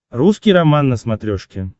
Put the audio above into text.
русский роман на смотрешке